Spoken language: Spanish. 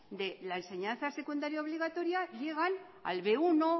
de la enseñanza secundaria obligaria llegan al bmenos uno